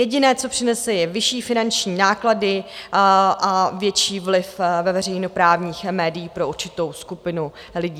Jediné, co přinese, je vyšší finanční náklady a větší vliv ve veřejnoprávních médií pro určitou skupinu lidí.